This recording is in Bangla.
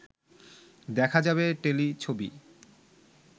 দেখা যাবে টেলিছবি